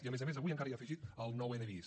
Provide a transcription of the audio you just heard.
i a més a més avui encara hi ha afegit el nou n bis